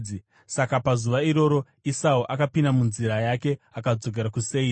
Saka pazuva iroro, Esau akapinda munzira yake akadzokera kuSeiri.